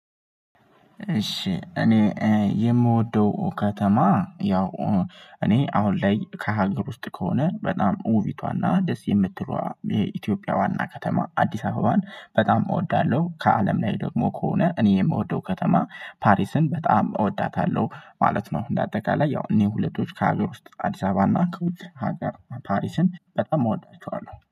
እሺ እኔ የምወደው ከተማ ያው እኔ አሁን ላይ ከሀገር ውስጥ ከሆነ በጣም ውቢቷና ደስ የምትለዋ የኢትዮጵያ ዋና ከተማ አዲስ አበባን በጣም እወዳለሁ። ከአለም ላይ ደግሞ ከሆነ እኔ የምወደው ከተማ ፓሪስን በጣም እወዳታለሁ ማለት ነው። እንደ አጠቃላይ ያው እኔ ሁለቶች ከሀገር ውስጥ አዲስ አበባና ከውጭ ሀገር ፓሪስን በጣም እወዳቸዋለሁ